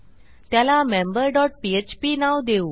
त्याला member dot PHP नाव देऊ